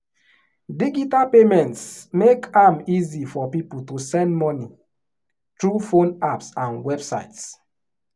digital payments make am easy for people to send money through phone apps and websites.